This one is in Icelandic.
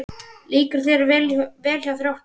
Líkar þér vel hjá Þrótti?